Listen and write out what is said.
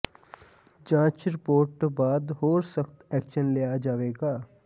ਜਾਂਚ ਰਿਪੋਰਟ ਤੋਂ ਬਾਦ ਹੋਰ ਸਖਤ ਐਕਸ਼ਨ ਲਿਆ ਜਾਵੇਗਾ